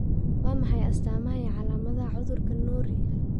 Waa maxay astaamaha iyo calaamadaha cudurka Norrie?